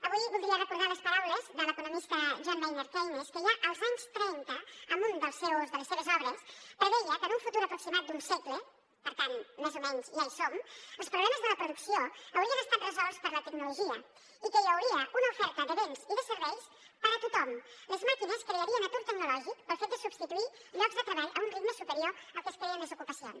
avui voldria recordar les paraules de l’economista john maynard keynes que ja els anys trenta en una de les seves obres preveia que en un futur aproximat d’un segle per tant més o menys ja hi som els problemes de la producció haurien estat resolts per la tecnologia i que hi hauria una oferta de béns i de serveis per a tothom les màquines crearien atur tecnològic pel fet de substituir llocs de treball a un ritme superior al que es creen les ocupacions